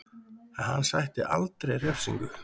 En hann sætti aldrei refsingu